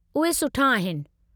उहे सुठो आहिनि।